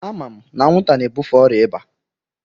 Ama m na anwụnta na-ebufe ọrịa ịba.